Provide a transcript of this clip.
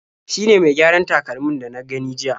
Shi ne mai gyaran takalmin da na gani jiya..